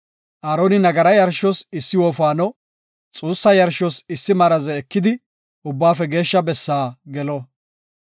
Aaroni nagaraa yarshos issi wofaano, xuussa yarshos issi maraze ekidi Ubbaafe Geeshsha Bessaa gelo.